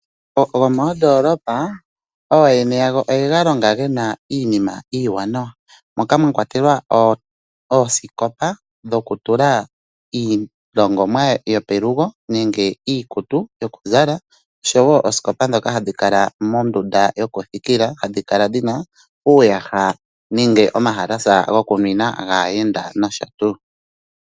Omagumbo gomoondoolopa ooyena yago oye galonga gena iinima iiwanawa moka mwakwatelwa oosikopa dhokutulwa iilongomwa yopelugo nenge iikutu yokuzala oshowo oosikopa dhoka hadhi kala mondunda yokuthikila hadhi kala dhina uuyaha nenge omahalasha gokuninwa, gaayenda nosho tu.